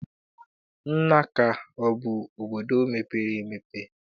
Nanka abụ obodo mepere emepe?